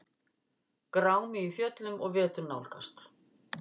Grámi í fjöllum og vetur nálgast